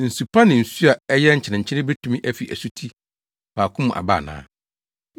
Nsu pa ne nsu a ɛyɛ nkyenenkyene betumi afi asuti baako mu aba ana?